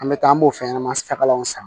An bɛ taa an b'o fɛn ɲɛnaman takaw san